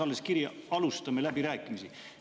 Alles novembri lõpus saabus kiri, et alustatakse läbirääkimisi.